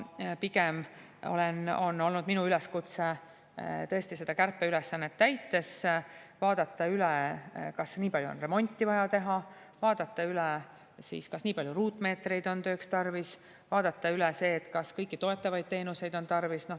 Pigem on olnud minu üleskutse seda kärpeülesannet täites vaadata üle, kas nii palju on remonti vaja teha, vaadata üle, kas nii palju ruutmeetreid on tööks tarvis, vaadata üle see, kas kõiki toetavaid teenuseid on tarvis.